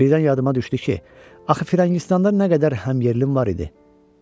Birdən yadıma düşdü ki, axı firəngistanda nə qədər həmyerlim var idi?